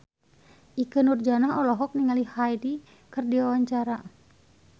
Ikke Nurjanah olohok ningali Hyde keur diwawancara